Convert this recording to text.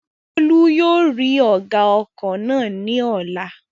Bólú yóò rí ọ̀gá ọkọ̀ náà ní ọ̀la